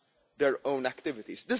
their own activities.